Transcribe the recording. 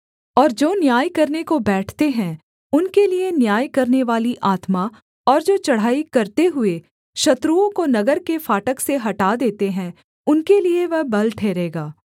और जो न्याय करने को बैठते हैं उनके लिये न्याय करनेवाली आत्मा और जो चढ़ाई करते हुए शत्रुओं को नगर के फाटक से हटा देते हैं उनके लिये वह बल ठहरेगा